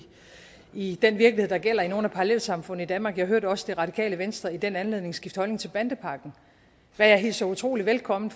i den virkelighed der gælder i nogle af parallelsamfundene i danmark jeg hørte også det radikale venstre i den anledning skifte holdning til bandepakken hvad jeg hilser utrolig velkommen